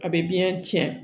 A bɛ biyɛn cɛn